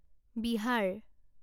Bihar